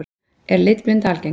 Er litblinda algeng?